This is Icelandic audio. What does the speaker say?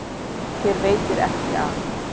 Þér veitir ekki af.